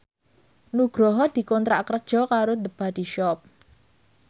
Nugroho dikontrak kerja karo The Body Shop